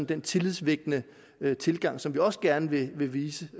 den tillidsvækkende tilgang som vi også gerne vil vise